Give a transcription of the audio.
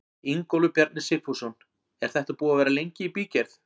Ingólfur Bjarni Sigfússon: Er þetta búið að vera lengi í bígerð?